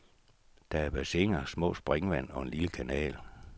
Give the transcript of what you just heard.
Der er bassiner, små springvand og en lille kanal.